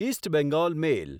east Bengal મેલ